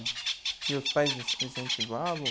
E os pais, incentivavam?